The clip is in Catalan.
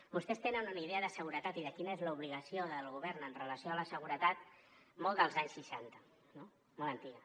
vostès tenen una idea de seguretat i de quina és l’obligació del govern amb relació a la seguretat molt dels anys seixanta no molt antiga